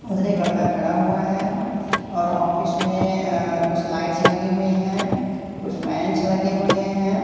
उधर एक लड़का खड़ा हुआ है और ऑफिस में अह कुछ लाइट्स लगी हुई हैं कुछ फैंस लगे हुए हैं।